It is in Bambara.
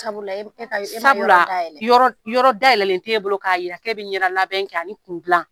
Sabula e ma yɔrɔ da yɛlɛ . Sabula yɔrɔ da yɛlɛlen t'e bolo ka yira k'e be ɲɛda labɛn kɛ ani kun gilan.